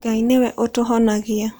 Ngai nĩwe ũtũhonagia.